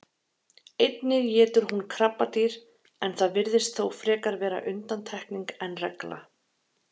Einnig étur hún krabbadýr en það virðist þó frekar vera undantekning en regla.